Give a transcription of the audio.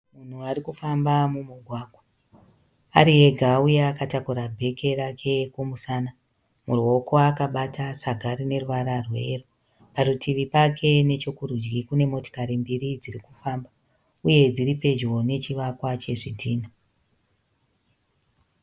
Munhu arikufamba mumugwagwa, ari ega uye akatakura bheki rake kumusana. Muruoko akabata saga rineruvara rweyero. Parutivi pake nechokurudyi panemotokari mbiri dzirikufamba uye dziripedyo nechivakwa chezvidhina.